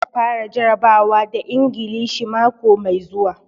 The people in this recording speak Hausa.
Za su fara jarabawa da Ingilishi mako mai zuwa.